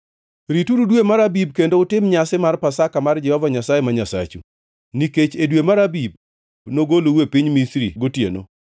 Rituru dwe mar Abib kendo utim nyasi mar Pasaka mar Jehova Nyasaye ma Nyasachu, nikech e dwe mar Abib nogolou e piny Misri gotieno.